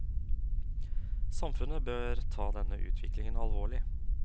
Samfunnet bør ta denne utviklingen alvorlig.